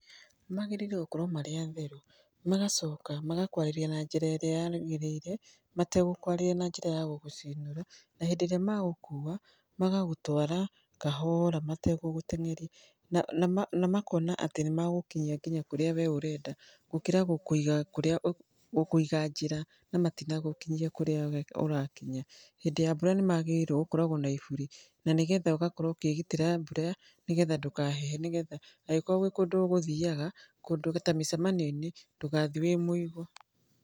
Magĩrĩirũo gũkorwo marĩ atheru, magacoka magakwarĩria na njĩra ĩrĩa yagĩrĩire, mategũkwarĩria na njĩra ya gũgũcinũra, na hĩndĩ ĩrĩa magũkua, magagũtwara kahora mategũgũteng'eria. Na makona atĩ nĩ magũkinyia ngĩnya kũrĩa we ũrenda, gũkĩra gũkũiga njĩra na matinagũkinyia kũrĩa we ũrakinya. Hĩndĩ ya mbura nĩ magĩrĩirũo gũkorwo na iburi na ni getha ũgakorwo ũkĩĩgitĩra mbura nĩ getha ndũkahehe, nĩ getha angĩkorũo gwĩ kũndũ ũgũthiaga kũndũ ta mĩcemanio-inĩ, ndũgathiĩ wĩ mũigũ.